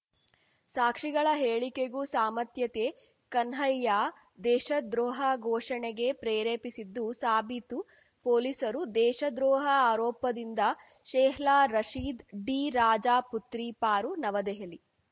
ಸಾಕ್ಷಿಗಳ ಹೇಳಿಕೆಗೂ ಸಾಮತ್ಯತ್ತೆ ಕನ್ಹಯ್ಯಾ ದೇಶದ್ರೋಹ ಘೋಷಣೆಗೆ ಪ್ರೇರೇಪಿಸಿದ್ದು ಸಾಬೀತು ಪೊಲೀಸರು ದೇಶದ್ರೋಹ ಆರೋಪದಿಂದ ಶೆಹ್ಲಾ ರಶೀದ್‌ ಡಿ ರಾಜಾ ಪುತ್ರಿ ಪಾರು ನವದೆಹಲಿ